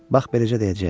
Bax beləcə deyəcəyəm: